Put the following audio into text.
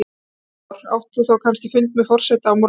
Heimir Már: Átt þú þá kannski fund með forseta á morgun?